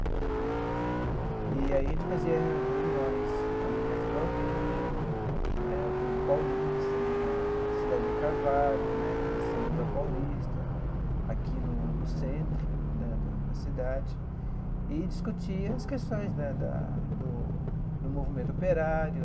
Né e aí a gente fazia reuniões ali em Artur Alvim, eh Burgo Paulista né, Cidade de Carvalho né, São Miguel Paulista, aqui no no centro né da da cidade, e discutia as questões né da do do movimento operário,